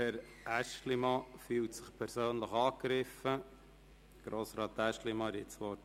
Herr Aeschlimann fühlt sich persönlich angegriffen, und er hat das Wort.